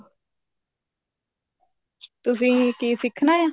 ਤੁਸੀਂ ਕੀ ਸਿੱਖਣਾ ਆ